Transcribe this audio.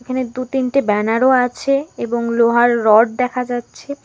এখানে দু'তিনটে ব্যানার ও আছে এবং লোহার রড দেখা যাচ্ছে।